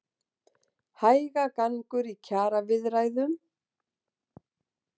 Hægagangur í kjaraviðræðum